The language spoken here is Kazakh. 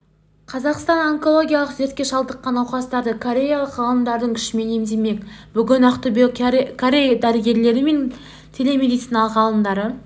қазақстан онкологиялық дертке шалдыққан науқастарды кореялық ғалымдардың күшімен емдемек бүгін ақтөбеге корей дәрігерлері мен телемедицина ғалымдары